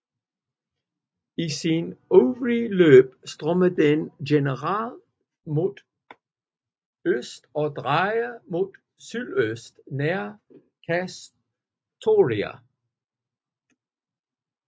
I sin øvre løb strømmer den generelt mod øst og drejer mod sydøst nær Kastoria